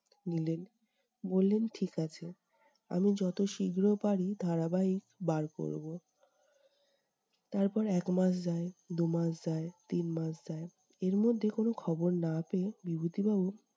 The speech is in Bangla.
নিলেন। বললেন ঠিক আছে। আমি যত শীঘ্র পারি ধারাবাহিক বার করব। তারপর এক মাস যায়, দু মাস যায়, তিন মাস যায় এর মধ্যে কোন খবর না পেয়ে বিভূতি বাবু-